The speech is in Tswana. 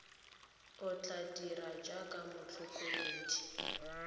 o tla dirang jaaka motlhokomedi